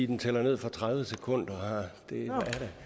den tæller ned fra tredive sekunder